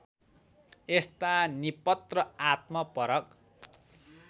यस्ता निपत्र आत्मपरक